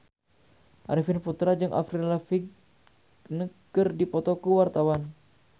Arifin Putra jeung Avril Lavigne keur dipoto ku wartawan